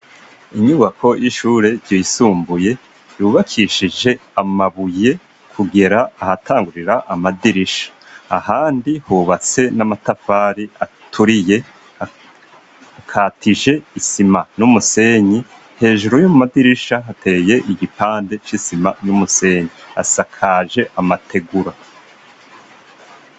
Inyubako y'ishure ryoisumbuye yubakishije amabuye kugera ahatangurira amadirisha ahandi hubatse n'amatafari aturiye akatije isima n'umusenyi hejuru y'umu madirisha hateye igipande c'isima n'umusenyi asakaje amategura.